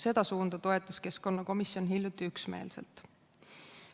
Seda suunda toetas keskkonnakomisjon hiljuti üksmeelselt.